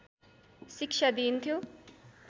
शिक्षा दिइन्थ्यो।